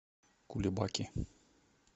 кулебаки